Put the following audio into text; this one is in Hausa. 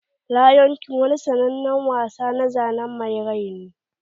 Lion king wani sannanen wasa na zanen mai rai ne.